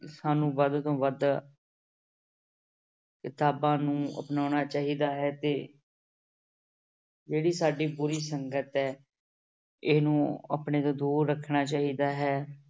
ਸਾਨੂੰ ਵੱਧ ਤੋਂ ਵੱਧ ਕਿਤਾਬਾਂ ਨੂੰ ਅਪਨਾਉਣਾ ਚਾਹੀਦਾ ਹੈ ਤੇ ਜਿਹੜੀ ਸਾਡੀ ਬੁਰੀ ਸੰਗਤ ਹੈ, ਇਹਨੂੰ ਆਪਣੇ ਤੋਂ ਦੂਰ ਰੱਖਣਾ ਚਾਹੀਦਾ ਹੈ।